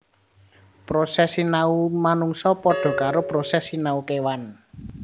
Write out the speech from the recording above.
Proses sinau manungsa padha karo proses sinau kèwan